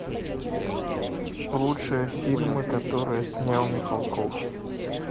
лучшие фильмы которые снял михалков